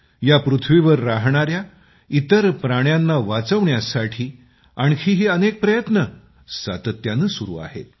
या पृथ्वीवर राहणाऱ्या इतर प्राण्यांना वाचवण्यासाठी आणखीही अनेक प्रयत्न सातत्याने सुरू आहेत